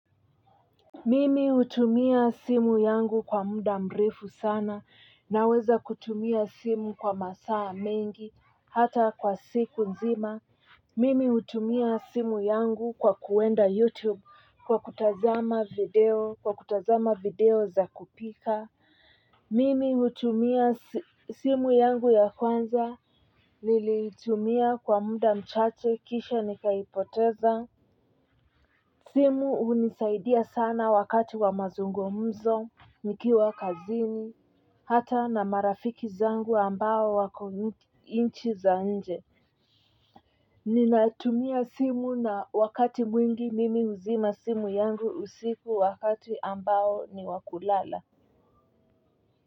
Mimi hutumia simu yangu kwa muda mrefu sana naweza kutumia simu kwa masaa mengi hata kwa siku nzima mimi hutumia simu yangu kwa kuenda youtube kwa kutazama video za kupika. Mimi hutumia simu yangu ya kwanza niliitumia kwa muda mchache kisha nikaipoteza. Simu hunisaidia sana wakati wa mazungmzo, nikiwa kazini, hata na marafiki zangu ambao wako nchi za nje. Ninatumia simu na wakati mwingi mimi huzima simu yangu usiku wakati ambao ni wa kulala.